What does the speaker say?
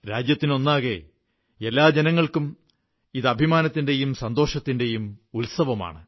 രാജ്യത്തിനൊന്നാകെ എല്ലാ ജനങ്ങൾക്കും ഇത് അഭിമാനത്തിന്റെയും സന്തോഷത്തിന്റെയും ഉത്സവമാണ്